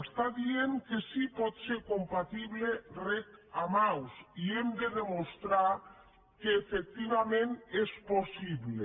està dient que sí pot ser compatible reg amb aus i hem de demostrar que efectivament és possible